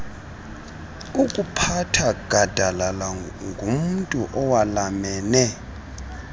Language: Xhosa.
okuphatha gadalalangumntu owalamene